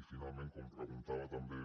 i finalment com que preguntava també